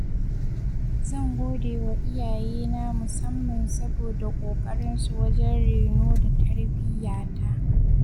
Zan godewa iyayena musamman saboda ƙoƙarinsu wajen reno da tarbiyyata.